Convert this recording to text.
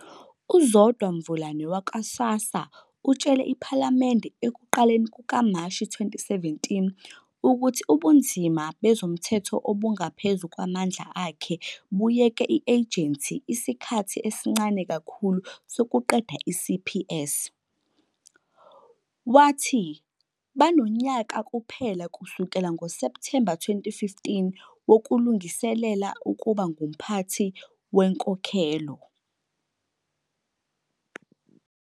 UZodwa Mvulane wakwa-SASSA utshele iPhalamende ekuqaleni kukaMashi 2017 ukuthi ubunzima bezomthetho obungaphezu kwamandla akhe buyeke i -Agency isikhathi esincane kakhulu sokuqeda i-CPS, wathi "banonyaka kuphela, kusukela ngoSepthemba 2015, wokulungiselela ukuba ngumphathi wenkokhelo".